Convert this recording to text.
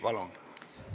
Palun!